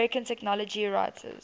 american technology writers